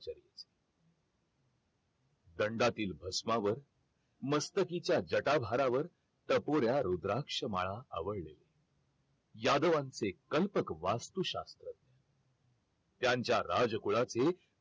दंडातील भस्मावर मस्तकीच्या जटाधारांवर टपोऱ्या रुद्राक्ष माळा आवळल्या यादवांचे कंटक वस्तू शास्त्र त्यांच्या राजकुळात एक